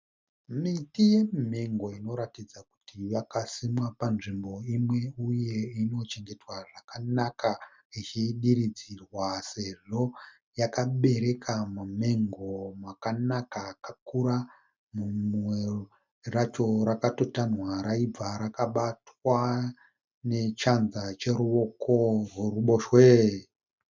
Miti yemimengo inoratidza kuti yakasimwa panzvimbo imwe uye inochengetwa zvakanaka ichidiridzirwa sezvo yakabereka mamengo akanaka akura, rimwe racho rakatotanhwa raibva rakabatwa nechanza cheruoko rweruboshwe.